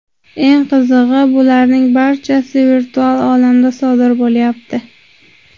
Eng qizig‘i, bularning barchasi virtual olamda sodir bo‘lyapti.